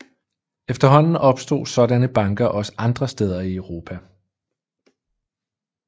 Efterhånden opstod sådanne banker også andre steder i Europa